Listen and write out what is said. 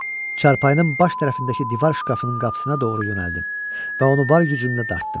Çarpaının baş tərəfindəki divar şkafının qapısına doğru yönəldim və onu var gücümlə dartdım.